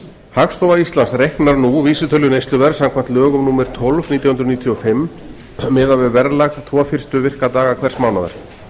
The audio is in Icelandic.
hagstofa íslands reiknar nú vísitölu neysluverðs samkvæmt lögum númer tólf nítján hundruð níutíu og fimm miðað við verðlag tvo fyrstu virka daga hvers mánaðar